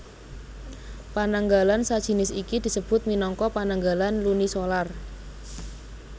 Pananggalan sajinis iki disebut minangka pananggalan lunisolar